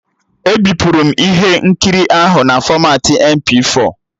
E bipuru m ihe nkiri ahụ na fọmatị MP4